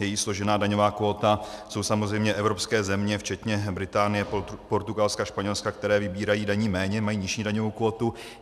Její složená daňová kvóta jsou samozřejmě evropské země včetně Británie, Portugalska, Španělska, které vybírají daní méně, mají nižší daňovou kvótu.